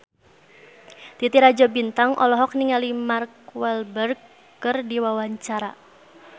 Titi Rajo Bintang olohok ningali Mark Walberg keur diwawancara